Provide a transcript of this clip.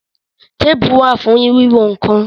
Téèpù wà fún wíwọn nǹkan